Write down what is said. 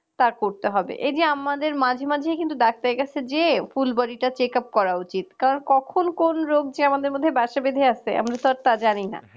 তা করতে হবে এই যে আমাদের মাঝে মাঝে কিন্তু ডাক্তারের কাছে যেয়ে ফুল body checkup করা উচিত কারণ কখন কোন রোগ যে আমাদের মধ্যে বাসা বেধে আছে আমরা তো আর তা জানিনা